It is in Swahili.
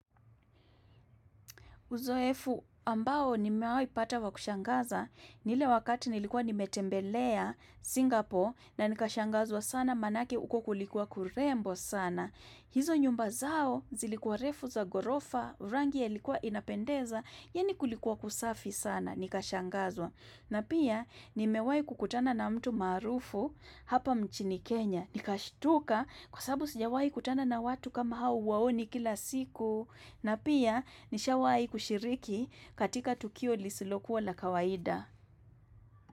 Uzoefu ambao nimewaipata wa kushangaza, ni ile wakati nilikuwa nimetembelea Singapore na nikashangazwa sana manake uko kulikuwa kurembo sana. Hizo nyumba zao zilikuwa refu za gorofa, rangi yalikuwa inapendeza, yani kulikuwa kusafi sana nikashangazwa. Na pia nimewahi kukutana na mtu maarufu hapa nchini Kenya. Nikashtuka kwa sababu sijawaikutana na watu kama hao huwaoni kila siku. Na pia nishawai kushiriki katika tukio lisilokuwa la kawaida.